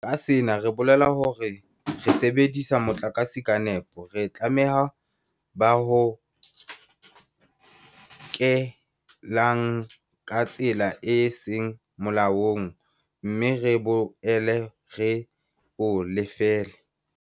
Ka sena re bolela hore re sebedise motlakase ka nepo, re tlalehe ba o hokelang ka tsela e seng molaong mme re boele re o lefelle.